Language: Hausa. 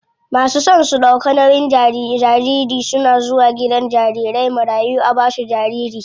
Masu son su ɗauka nauyin jariri suna zuwa gidan jarirai marayu a basu jariri.